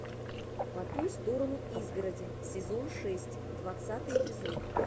по ту сторону изгороди сезон шесть двадцатый эпизод